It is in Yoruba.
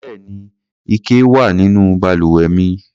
Bẹ́ẹ̀ni, ike wà nínú balùwẹ̀ mi.